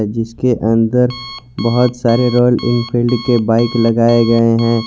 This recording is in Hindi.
जिसके अंदर बहुत सारे रॉयल एनफील्ड के बाइक लगाए गए हैं।